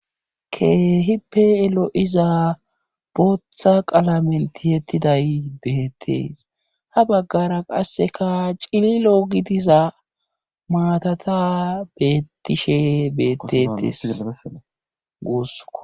keehippe elo7iza booththa qala melti yettiday beettees ha baggara qasseka cililo gidiza maatata bettishe beettetes guussko